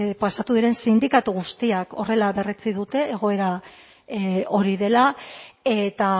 pasatu diren sindikatu guztia horrela berretsi dute egoera hori dela eta